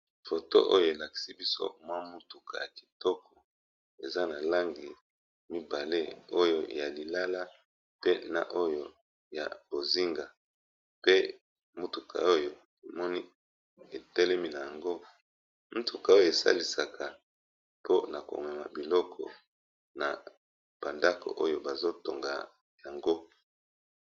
foto oyo elakisi biso mwa mutuka ya kitoko eza na langi Liboso na biso na elili oyo, eza mutuka ya munene etelemi, eza na langi ya lilala. Motuka oyo esalisaka batu pona ko mema mabanga oto zelo pona kotonga bala bala oto ba ndaku.